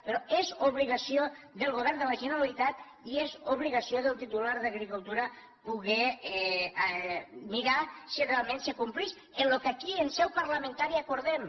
però és obligació del govern de la generalitat i és obligació del titular d’agricultura poder mirar si realment se complix lo que aquí en seu parlamentària acordem